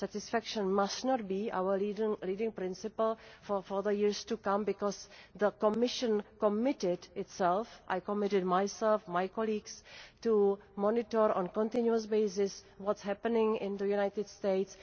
Satisfaction must not be our leading principle for the years to come, because the Commission has committed itself I have committed myself and my colleagues to monitor on a continuous basis what is happening in the United States.